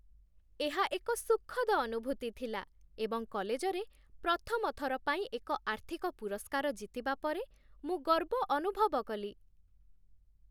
ଏହା ଏକ ସୁଖଦ ଅନୁଭୂତି ଥିଲା ଏବଂ କଲେଜରେ ପ୍ରଥମ ଥର ପାଇଁ ଏକ ଆର୍ଥିକ ପୁରସ୍କାର ଜିତିବା ପରେ ମୁଁ ଗର୍ବ ଅନୁଭବ କଲି।